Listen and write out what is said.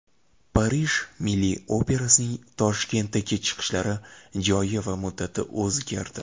Parij milliy operasining Toshkentdagi chiqishlari joyi va muddati o‘zgardi.